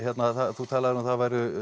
þú talaðir um að það væru